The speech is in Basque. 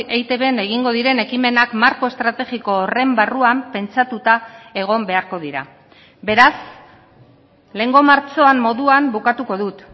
eitbn egingo diren ekimenak marko estrategiko horren barruan pentsatuta egon beharko dira beraz lehengo martxoan moduan bukatuko dut